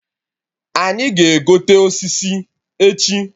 Anyị ga-egote osisi echi